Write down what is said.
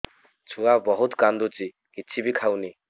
ଛୁଆ ବହୁତ୍ କାନ୍ଦୁଚି କିଛିବି ଖାଉନି